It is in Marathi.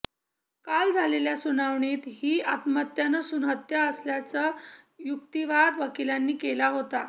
काल झालेल्या सुनावणीत ही आत्महत्या नसून हत्या असल्याचा युक्तिवाद वकिलांनी केला होता